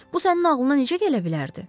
Bu sənin ağlına necə gələ bilərdi?